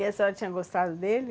E a senhora tinha gostado dele?